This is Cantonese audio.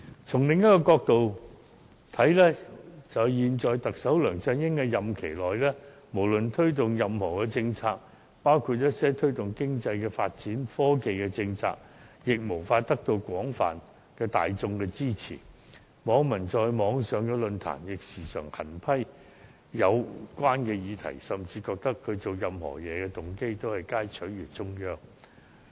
從另一角度看來，在現任特首梁振英的任期內，無論推動任何政策，包括一些推動經濟和科技發展的政策，均無法得到大眾的廣泛支持，網民亦時常在網上論壇狠批有關建議，甚至認為他所做任何事情的動機，皆在取悅中央。